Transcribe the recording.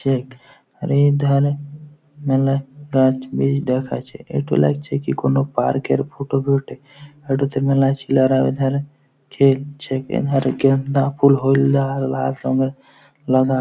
check আর এ ধারে মেলাই রাজ বিস দেখা যাচ্ছে এটি লাগছে কি কোনো পার্ক -এর ফটো বটে এটোতে মেলা ছেলেরা খেলছে এধারে গেন্দা ফুল হলদা লাল রঙ্গের লাগা --